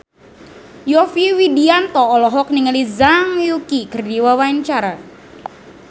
Yovie Widianto olohok ningali Zhang Yuqi keur diwawancara